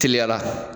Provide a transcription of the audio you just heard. Teliya la